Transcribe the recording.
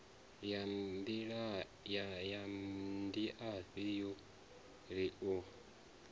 ya ndiafhi yo ri u